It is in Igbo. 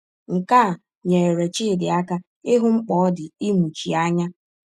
Nke a nyere Chidi aka ịhụ mkpa ọ dị ịmụchi anya.